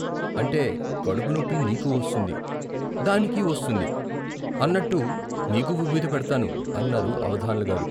అంటే కడుపు నొప్పి నీకూ వస్తుంది, దానికీ వస్తుంది అనట్టు నీకు విబూది పెడ్తాను అన్నారు అవధాన్ల గారు.